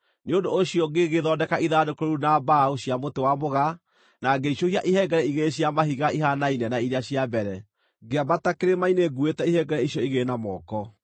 Nĩ ũndũ ũcio ngĩgĩthondeka ithandũkũ rĩu na mbaũ cia mũtĩ wa mũgaa, na ngĩicũhia ihengere igĩrĩ cia mahiga ihaanaine na iria cia mbere, ngĩambata kĩrĩma-inĩ nguuĩte ihengere icio igĩrĩ na moko.